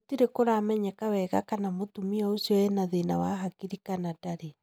Gũtirĩ kũramenyeka wega kana mũtumia ũcio ena thĩna wa hakiri kana ndarĩ.